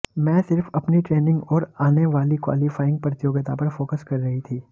मैं सिर्फ अपनी ट्रेनिंग और आने वाली क्वालीफाइंग प्रतियोगिता पर फोकस कर रही थी